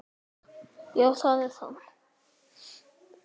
Hvað kom fyrir Messi?